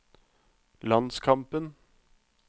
landskampen